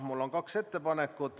Mul on kaks ettepanekut.